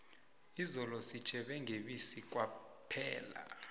izolo sitjhebe ngebisi kwaphela